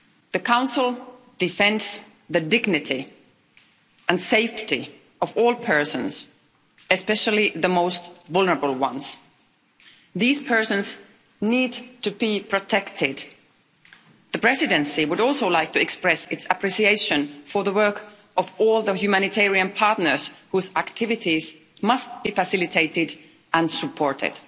The Council defends the dignity and safety of all persons, especially the most vulnerable ones. These persons need to be protected. The Presidency would also like to express its appreciation for the work of all the humanitarian partners whose activities must be facilitated and supported.